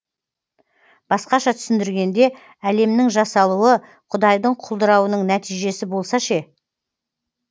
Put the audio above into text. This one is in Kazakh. басқаша түсіндіргенде әлемнің жасалуы құдайдың құлдырауының нәтижесі болса ше